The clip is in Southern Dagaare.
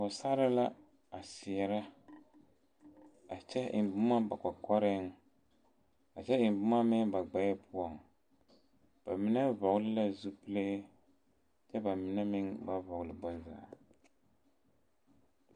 pɔge sarre la a seɛre, a kyɛ eŋe boma ba kɔkɔreŋ a kyɛ eŋe boma meŋ ba gbɛɛ poɔ, ba mine vɔgeli zupile kyɛ ba mine meŋ ba vɔgeli bonzaa.